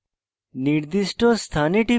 নির্দিষ্ট স্থানে টিপে